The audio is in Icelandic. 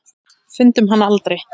Fundum hann aldrei.